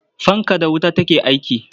Fanka da wuta take aiki.